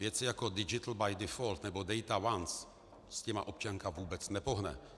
Věci jako digital by default nebo data once, s těmi občanka vůbec nepohne.